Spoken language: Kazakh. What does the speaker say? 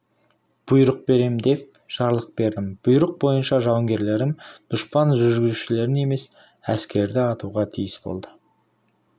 бұйрық берем деп жарлық бердім бұйрық бойынша жауынгерлерім дұшпан жүргізушілерін емес әскерді атуға тиіс болды